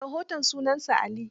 Mai rahoton sunansa Ali